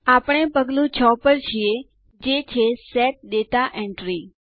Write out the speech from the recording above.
આપણે પગલું ૬ પર છીએ જે છે સેટ દાતા એન્ટ્રી